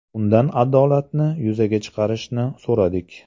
Undan adolatni yuzaga chiqarishini so‘radik.